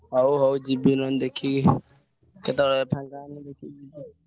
ହଉ ହଉ ଯିବି ନହେଲେ ଦେଖିକି କେତେବେଳେ ଫାଙ୍କ ହେଲେ ଯିବି।